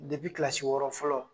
kilasi wɔɔrɔ fɔlɔ